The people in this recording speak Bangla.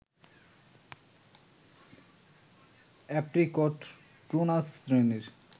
অ্যাপ্রিকট প্রুনাস শ্রেণীর